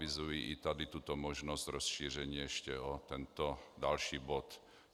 Avizuji i tady tuto možnost rozšíření ještě o tento další bod.